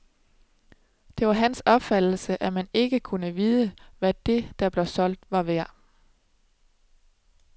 Det var hans opfattelse, at man ikke kunne vide, hvad det, der blev solgt, var værd.